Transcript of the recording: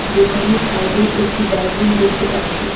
দোকানের সাইডে একটি ডাস্টবিন দেখতে পাচ্ছি।